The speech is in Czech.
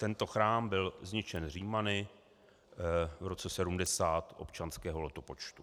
Tento chrám byl zničen Římany v roce 70 občanského letopočtu.